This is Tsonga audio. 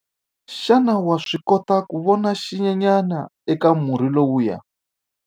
Xana wa swi kota ku vona xinyenyana eka murhi lowuya?